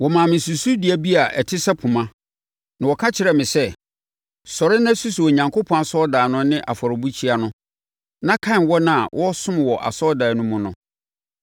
Wɔmaa me susudua bi a ɛte sɛ poma, na wɔka kyerɛɛ me sɛ, “Sɔre na susu Onyankopɔn asɔredan no ne afɔrebukyia no na kan wɔn a wɔresom wɔ asɔredan no mu no.